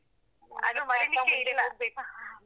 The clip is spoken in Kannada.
ಅದು.